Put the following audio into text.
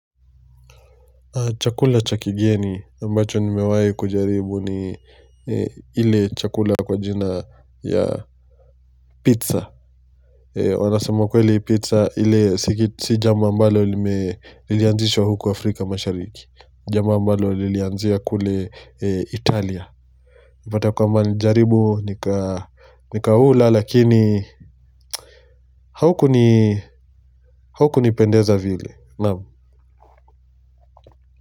Chakula cha kigeni ambacho nimewai kujaribu ni ile chakula kwa jina ya pizza wanasema kweli pizza ile si jambo ambalo lilianzishwa huku Afrika mashariki. Jambo ambalo lilianzia kule Italia unapata kwamba nilijaribu nikaula lakini haukunipendeza vile naam.